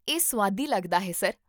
ਇਹ ਸੁਆਦੀ ਲੱਗਦਾ ਹੈ, ਸਰ